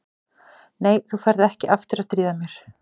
Nei, þú ferð ekki aftur að stríða mér.